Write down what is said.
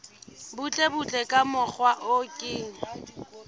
butlebutle ka mokgwa o ke